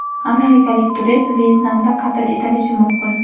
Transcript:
Amerikalik turist Vyetnamda qatl etilishi mumkin.